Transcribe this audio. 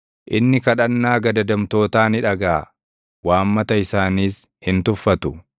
Inni kadhannaa gadadamtootaa ni dhagaʼa; waammata isaaniis hin tuffatu.